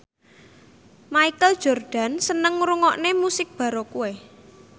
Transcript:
Michael Jordan seneng ngrungokne musik baroque